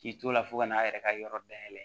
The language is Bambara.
K'i to la fo ka n'a yɛrɛ ka yɔrɔ dayɛlɛ